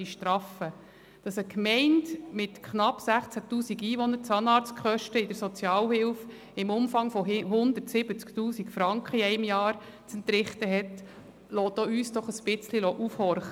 Dass eine Gemeinde mit knapp 16 000 Einwohnern während eines Jahres Zahnarztkosten in der Sozialhilfe im Umfang von 170 000 Franken zu entrichten hat, lässt auch uns ein wenig aufhorchen.